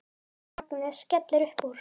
Agnes skellir upp úr.